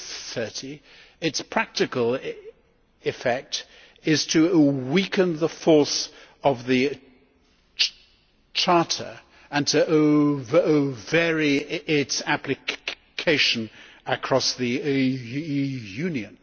30, its practical effect is to weaken the force of the Charter and to vary its application across the Union.